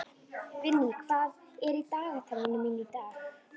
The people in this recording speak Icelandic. Vinný, hvað er í dagatalinu mínu í dag?